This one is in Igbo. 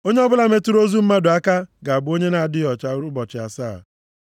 “Onye ọbụla metụrụ ozu mmadụ aka ga-abụ onye na-adịghị ọcha ụbọchị asaa.